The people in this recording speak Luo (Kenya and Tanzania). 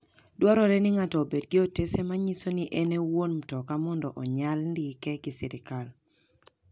Ndwarore ni ng'ato obed gi otese manyiso ni en e wuon mtoka mondo onyal ndike gi sirkal.